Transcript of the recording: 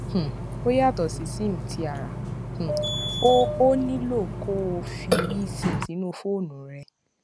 um ó yàtò sí sim ti ara um o ò nílò kó o fi esim sínú fóònù rẹ